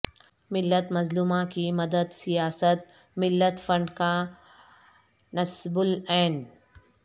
ملت مظلومہ کی مدد سیاست ملت فنڈ کا نصب العین